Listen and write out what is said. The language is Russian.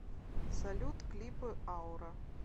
салют клипы аура